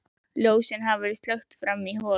Ljósin hafa verið slökkt frammi í holi.